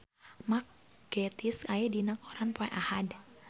Mark Gatiss aya dina koran poe Ahad